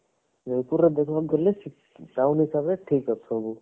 ଜୟପୁରରେ ଦୋକାନ ଥିଲେ town ହିସାବରେ ଠିକ ଅଛି ସବୁ